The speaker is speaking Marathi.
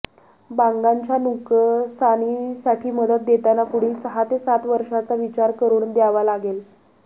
बागांच्या नुकसानीसाठी मदत देताना पुढील सहा ते सात वर्षांचा विचार करुन द्यावा लागेल